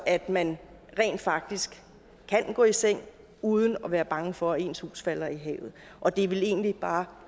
at man rent faktisk kan gå i seng uden at være bange for at ens hus falder i havet og det er vel egentlig bare